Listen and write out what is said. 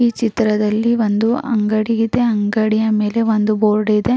ಈ ಚಿತ್ರದಲ್ಲ್ಲಿ ಒಂದು ಅಂಗಡಿ ಇದೆ. ಅಂಗಡಿಯಾ ಮೇಲೆ ಒಂದು ಬೋರ್ಡ್ ಇದೆ.